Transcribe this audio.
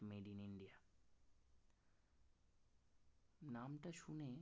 নামটা শুনেই